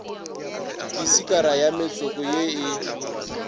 disikara ya metsoko ye e